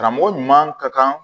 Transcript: Karamɔgɔ ɲuman ka kan